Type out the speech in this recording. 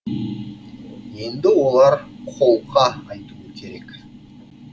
енді олар қолқа айтуы керек